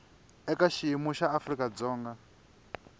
eka xiyimo xa afrika dzonga